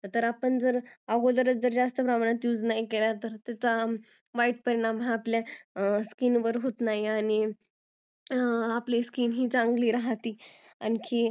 जर आपण अगोदरच जास्त प्रमाणात use नाही केला त्याचा वाईट परिणाम आपल्या skin वर होत नाही आपली skin ही चांगली राहते आणखीन